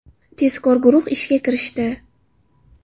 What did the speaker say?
Tezkor guruh ishga kirishdi.